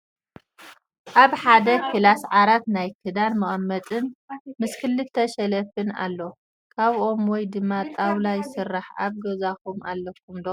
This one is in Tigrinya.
ኣብ ሓደ ክላስ ዓራት ናይ ክዳን መቀመጢን ምስ ክልተ ሸልፍን ኣሎ ። ካብ ኦም ወይ ድማ ጣውላ ይስራሕ ። ኣብ ገዛኩም አለኩም ዶ ?